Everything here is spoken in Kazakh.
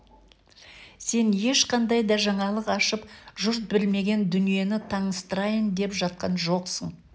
сен ешқандай да жаңалық ашып жұрт білмеген дүниені таныстырайын деп жатқан жоқсың